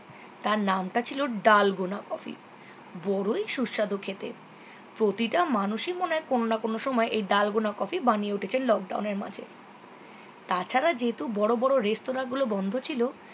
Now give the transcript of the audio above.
তার নামটা ছিল ডাল গোনা coffee বড়োই সুস্বাদু খেতে প্রতিটা মানুষই মনে হয় কোননা কোনো সময়ে এই ডাল গোনা coffee বানিয়ে উঠেছে lockdown এর মাঝে তাছাড়া যেহেতু বড়ো বড়ো রেস্তোরাঁ গুলো বন্ধ ছিল